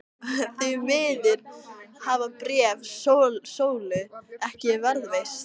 Því miður hafa bréf Sólu ekki varðveist.